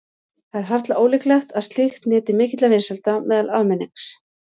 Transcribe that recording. Það er harla ólíklegt að slíkt nyti mikilla vinsælda meðal almennings.